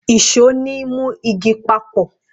ìṣó ni mu igi papọ